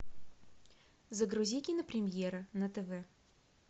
загрузи кинопремьера на тв